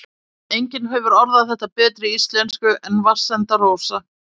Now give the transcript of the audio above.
Enginn hefur orðað þetta betur á íslensku en Vatnsenda-Rósa